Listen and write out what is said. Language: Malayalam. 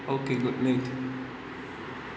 ഓകെ, ഗുഡ്നൈറ്റ്.